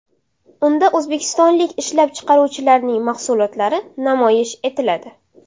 Unda o‘zbekistonlik ishlab chiqaruvchilarning mahsulotlari namoyish etiladi.